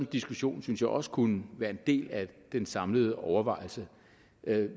diskussion synes jeg også kunne være en del af den samlede overvejelse